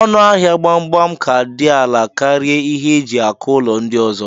Ọnụ ahia gbagbam ka di ala karia ihe eji akụlọ ndi ọzọ.